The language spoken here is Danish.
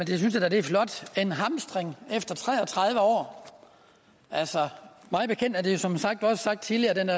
er flot en hamstring efter tre og tredive år altså mig bekendt er det jo som sagt også tidligere